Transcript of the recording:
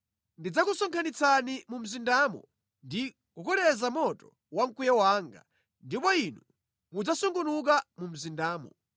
Ndidzakusonkhanitsani mu mzindamo ndi kukoleza moto wa mkwiyo wanga, ndipo inu mudzasungunuka mu mzindamo.